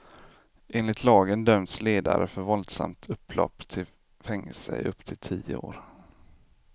Enligt lagen döms ledare för våldsamt upplopp till fängelse i upp till tio år.